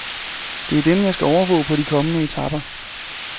Det er dem, jeg skal overvåge på de kommende etaper.